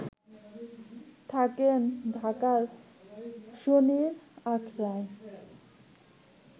থাকেন ঢাকার শনির আখড়ায়